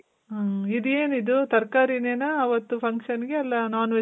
ಮ್. ಇದು ಏನಿದು ತರಕಾರಿ ನೆನ ಅವತ್ತು function ಗೆ ಇಲ್ಲ non-veg